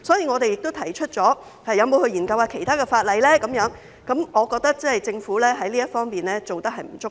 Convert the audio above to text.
我們亦提出是否有需要研究其他法例，所以我認為政府在這方面做得不足夠。